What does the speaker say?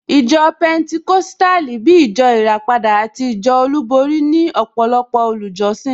Ìjọ Pẹnticọ́sítàlì, bíi ìjọ ìràpadà àti ìjọ olúborí ní ọ̀pọ̀lọpọ̀ olùjọ́sìn